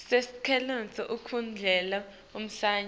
sicelo esikhundleni salomunye